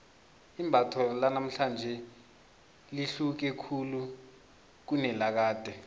imbatho lanamhlanje lihluke khulu kunelakade